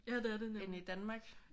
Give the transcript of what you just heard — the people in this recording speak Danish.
Ja det er det nemlig